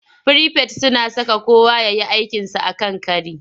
Firifet suna saka kowa ya yi aikinsa a kan kari.